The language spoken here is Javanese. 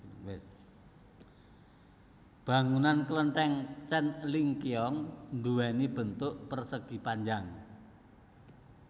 Bangunan kelenteng Tjen Ling Kiong duwéni bentuk persegi panjang